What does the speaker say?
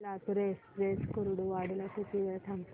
Latur express Kurduwadi ला किती वेळ थांबते